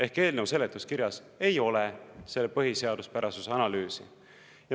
Ehk eelnõu seletuskirjas ei ole selle põhiseaduspärasuse analüüsi.